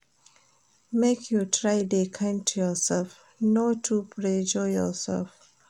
Make you try dey kind to youself, no too pressure yoursef.